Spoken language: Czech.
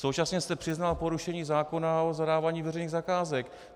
Současně jste přiznal porušení zákona o zadávání veřejných zakázek.